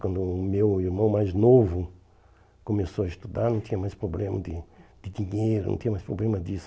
Quando o meu irmão mais novo começou a estudar, não tinha mais problema de de dinheiro, não tinha mais problema disso.